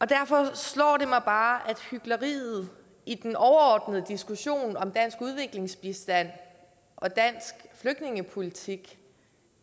derfor slår det mig bare at hykleriet i den overordnede diskussion om dansk udviklingsbistand og dansk flygtningepolitik